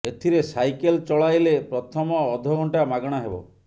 ଏଥିରେ ସାଇକେଲ୍ ଚଳାଇଲେ ପ୍ରଥମ ଅଧ ଘଣ୍ଟା ମାଗଣା ହେବ